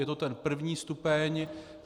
Je to ten první stupeň.